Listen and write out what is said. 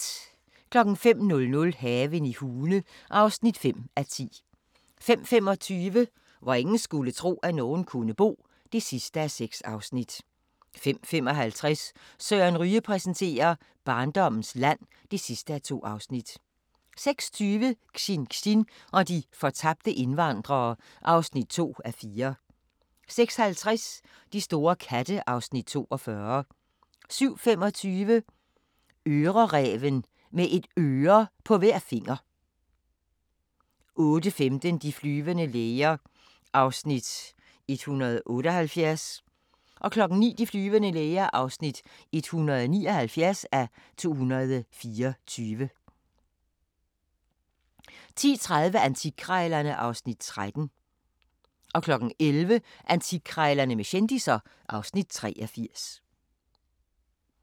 05:00: Haven i Hune (5:10) 05:25: Hvor ingen skulle tro, at nogen kunne bo (6:6) 05:55: Søren Ryge præsenterer: Barndommens land (2:2) 06:20: Xinxin og de fortabte indvandrere (2:4) 06:50: De store katte (Afs. 42) 07:25: Øreræven – med et øre på hver finger 08:15: De flyvende læger (178:224) 09:00: De flyvende læger (179:224) 10:30: Antikkrejlerne (Afs. 13) 11:00: Antikkrejlerne med kendisser (Afs. 83)